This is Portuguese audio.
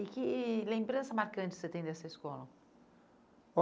E que lembrança marcante você tem dessa escola?